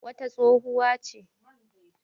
wata tsohuwa ce